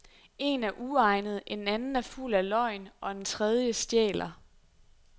Én er uegnet, en anden er fuld af løgn og en tredje stjæler.